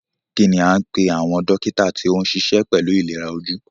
Kínní a ń pé àwọn dókítà tí o níṣe pẹlú ìlera ojú?